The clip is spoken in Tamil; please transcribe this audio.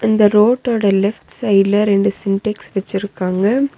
இந்த ரோட்டோட லெஃப்ட் சைடுல ரெண்டு சின்டெக்ஸ் வச்சிருக்காங்க.